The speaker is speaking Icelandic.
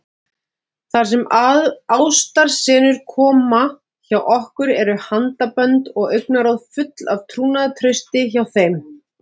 Þar sem ástarsenurnar koma hjá okkur eru handabönd og augnaráð full af trúnaðartrausti hjá þeim.